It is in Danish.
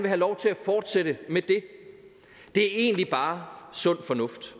have lov til at fortsætte med det det er egentlig bare sund fornuft